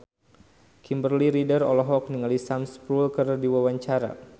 Kimberly Ryder olohok ningali Sam Spruell keur diwawancara